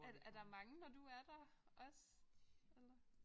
Er der er der mange når du er der også eller?